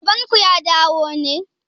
Baban ku ya dawo ne?